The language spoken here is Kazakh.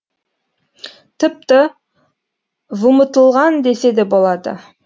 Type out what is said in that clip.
тіпті вұмытылған десе де болады